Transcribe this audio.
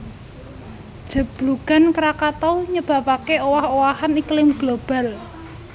Jeblugan Krakatau nyebabaké owah owahan iklim global